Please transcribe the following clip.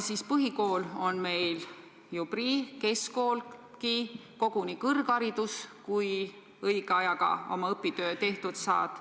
Põhikool on meil ju prii, keskkoolgi, koguni kõrgharidus, kui õige ajaga oma õpitöö tehtud saad.